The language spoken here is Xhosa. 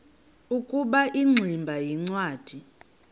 ukuba ingximba yincwadi